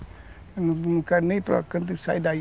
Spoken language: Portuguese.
Eu não quero nem ir para o canto e sair daí.